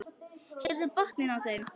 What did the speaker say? Sérðu botninn á þeim.